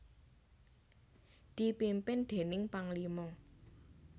dipimpin déning Panglima